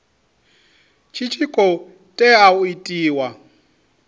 tshi khou tea u itiwa